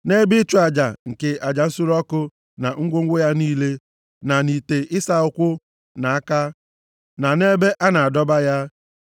na nʼebe ịchụ aja nke aja nsure ọkụ, na ngwongwo ya niile, na nʼite ịsa ụkwụ na aka, na nʼebe a na-adọba ya.